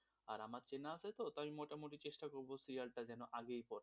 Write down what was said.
আর আমার চেনা আছে তো তাই আমি চেষ্টা করব serial টা যেন আগেই পড়ে,